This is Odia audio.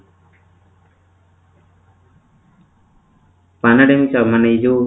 pandemic time ଏ ଯୋଉ